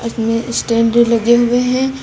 इसमें स्टैंड लगे हुए हैं।